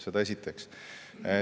Seda esiteks.